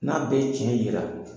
N'a bɛ tiɲɛ yira